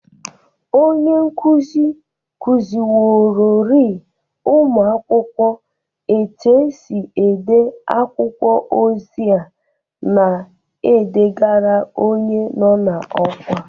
Onye nkuzi kụzịworori ụmụakwọkwo etu esi ede akwụkwọ ozi a na edegara onye nọ n'ọkwa